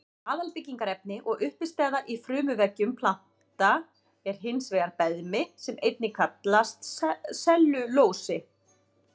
Aðalbyggingarefni og uppistaða í frumuveggjum planta er hins vegar beðmi sem einnig kallast sellulósi.